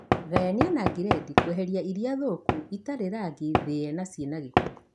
Gayania na giredi kweheria ilia thoku, itharĩ rangi, thĩe na ciĩna gĩko